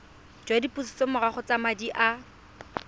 jwa dipusetsomorago tsa madi a